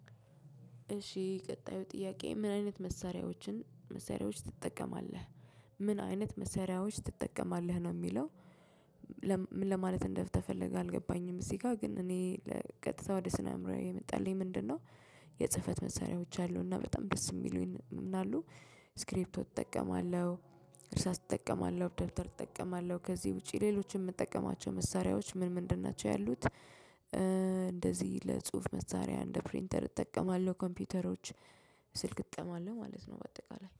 እሺ ቀጣዩ ጥያቄ ምን አይነት መሳሪያዎችን መሳሪያዎች ትጠቀማለህ ምን አይነት መሳሪያዎች ትጠቀማለህ ነው የሚለው? ምን ለማለት እንደተፈለገ አልገባኝም። እዚህ ጋር ግን እኔ ቀጥታ ወደ ስነ አእምሮዬ የመጣልኝ ምንድነው? የጽህፈት መሳሪያዎች አሉና በጣም ደስ የሚሉኝ አሉ። ስክሪፕቶ እጠቀማለሁ። እርሳስ እጠቀማለሁ ደብተር እጠቀማለሁ ከዚህ ውጪ ሌሎችን የምጠቀማቸው መሳሪያዎች ምን ምንድን ናቸው ያሉት? እንደዚህ ለጽሁፍ መሳሪያ እንደ ፕሪንተር እጠቀማለሁ ኮምፒውተሮች ስልክ እጠቀማለሁ ማለት ነው በአጠቃላይ